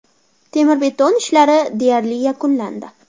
Temir-beton ishlari deyarli yakunlandi.